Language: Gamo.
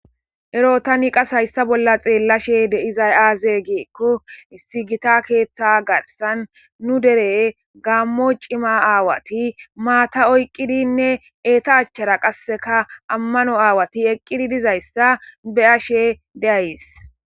Ero tani qasse hayssan bolla xeelashe dizay aaze gizayssa gidiko issi gita keeththa garssan nu dere gaamo cima aawati maata be kushen oykidinne eta lanqera qasse ammano aawati dizayssa be7ashe days.